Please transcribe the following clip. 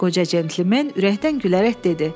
Qoca centlmen ürəkdən gülərək dedi: